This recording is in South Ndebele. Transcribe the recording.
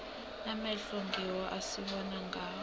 amehlo ngiwo esibona ngawo